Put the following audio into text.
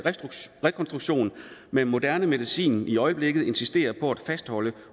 rekonstruktion med moderne medicin i øjeblikket insisterer på at fastholde